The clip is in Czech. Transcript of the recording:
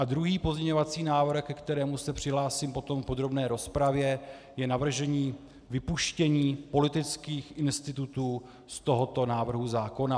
A druhý pozměňovací návrh, ke kterému se přihlásím potom v podrobné rozpravě, je navržení vypuštění politických institutů z tohoto návrhu zákona.